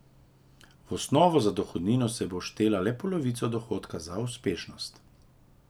V osnovo za dohodnino se bo vštevala le polovica dohodka za uspešnost.